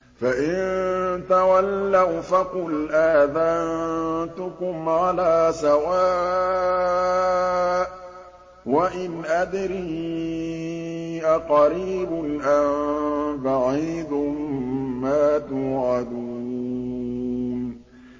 فَإِن تَوَلَّوْا فَقُلْ آذَنتُكُمْ عَلَىٰ سَوَاءٍ ۖ وَإِنْ أَدْرِي أَقَرِيبٌ أَم بَعِيدٌ مَّا تُوعَدُونَ